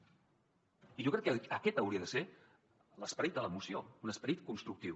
i jo crec que aquest hauria de ser l’esperit de la moció un esperit constructiu